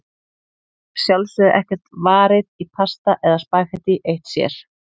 Það er að sjálfsögðu ekkert varið í pasta eða spaghetti eitt sér.